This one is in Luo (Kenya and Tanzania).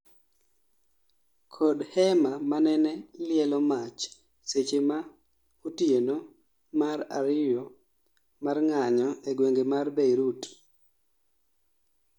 kod hema manene lielo mach seche ma otieno mar ariyo mar ng'anyo e gwenge mar Beirut